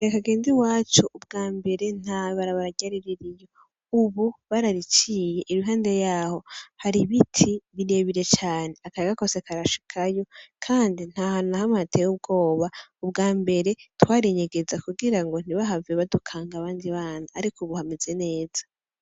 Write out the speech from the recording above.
Igihe ngende iwacu ubwa mbere nta barabara ryari ririyo, ubu barariciye, iruhande yaho hari ibiti birebire cane, akayaga kose karashikayo, kandi nt'ahantu na hamwe hateye ubwoba, ubwa mbere twarinyegeza kugira ngo ntibahave badukanga abandi bana, ariko ubu hameza neza.